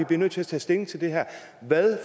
bliver nødt til at tage stilling til hvad